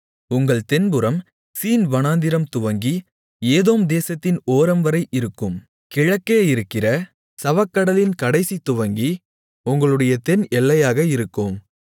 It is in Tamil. உங்கள் தென்புறம் சீன்வனாந்திரம் துவங்கி ஏதோம் தேசத்தின் ஓரம்வரை இருக்கும் கிழக்கே இருக்கிற சவக்கடலின் கடைசி துவங்கி உங்களுடைய தென் எல்லையாக இருக்கும்